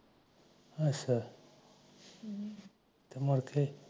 ਅਛਾ ਅਛਾ ਮੁੜ ਕੇ